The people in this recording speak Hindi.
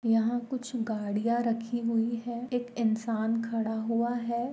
यहाँ कुछ गाड़ियाँ रखी हुई है एक इंसान खड़ा हुआ है।